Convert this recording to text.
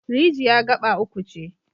Rijiyar gaɓa uku ce.